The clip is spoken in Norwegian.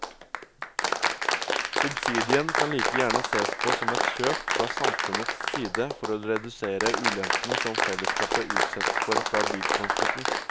Subsidien kan like gjerne sees på som et kjøp fra samfunnets side for å redusere ulempene som fellesskapet utsettes for fra biltransporten.